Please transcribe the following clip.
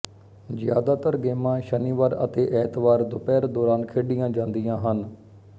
ਜ਼ਿਆਦਾਤਰ ਗੇਮਾਂ ਸ਼ਨੀਵਾਰ ਅਤੇ ਐਤਵਾਰ ਦੁਪਹਿਰ ਦੋਰਾਨ ਖੇਡੀਆਂ ਜਾਂਦੀਆਂ ਹਨ